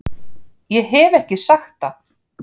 Ég hef ekki sagt það!